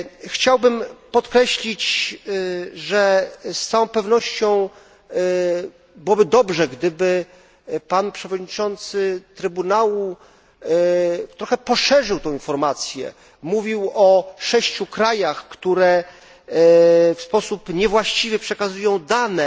Chciałbym podkreślić, że z całą pewnością byłoby dobrze, gdyby pan przewodniczący Trybunału trochę poszerzył tę informację, mówił bowiem o 6 krajach, które w sposób niewłaściwy przekazują dane,